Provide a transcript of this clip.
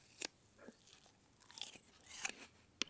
Farðu inn að sofa góði.